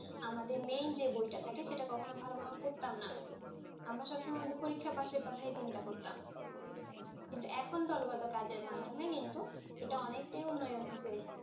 আমাদের main যে বইটা থাকে সেটা কখন ও ভালোভাবে পরতাম না। আমরা সব সময় আমাদের পরীক্ষা পাসের কথাই ছিন্তা করতাম। কিন্তু এখন দলগত কাজের মাধ্যমে কিন্তু এটা অনেকটাই উন্নয়ন হয়েছে।